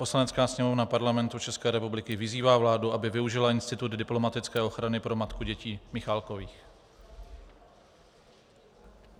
Poslanecká sněmovna Parlamentu České republiky vyzývá vládu, aby využila institut diplomatické ochrany pro matku dětí Michálkových.